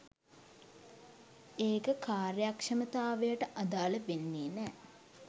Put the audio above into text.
ඒක කාර්යක්ෂමතාවයට අදාල වෙන්නෙ නෑ